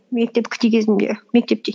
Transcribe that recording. мен кезімде мектепте